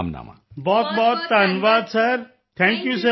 ਬਹੁਤਬਹੁਤ ਧੰਨਵਾਦ thank you sir ਧੰਨਵਾਦ